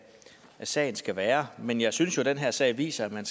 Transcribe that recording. sagen skal være men jeg synes jo at den her sag viser at man